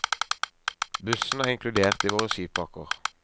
Bussen er inkludert i våre skipakker.